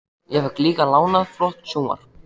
Ég fékk líka lánað flott sjónvarp.